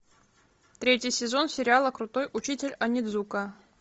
третий сезон сериала крутой учитель онидзука